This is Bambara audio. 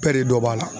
Bɛɛ de dɔ b'a la